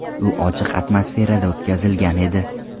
U ochiq atmosferada o‘tkazilgan edi.